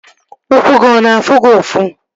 Ụkwụ gị ọ na-afụ gị ụfụ?